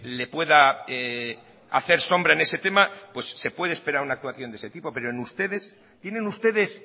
le pueda hacer sombra en ese tema pues se puede esperar una actuación de ese tipo pero en ustedes tienen ustedes